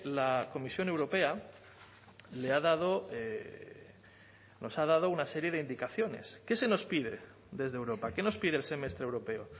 la comisión europea le ha dado nos ha dado una serie de indicaciones qué se nos pide desde europa qué nos pide el semestre europeo